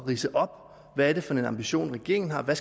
ridse op hvad er det for en ambition regeringen har hvad